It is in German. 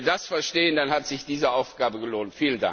Wenn wir das verstehen, dann hat sich diese Aufgabe gelohnt.